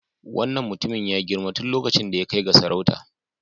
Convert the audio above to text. Wannan mutumin ya girma tun lokacin da ya kai ga sarauta.